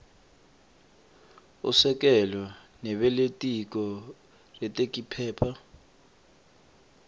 usekelo nebelitiko retekiphepha